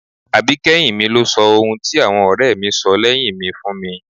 Àbíkẹ́yìn mi ló sọ ohun tí àwọn ọ̀rẹ́ mi sọ lẹ́yìn mi fún mi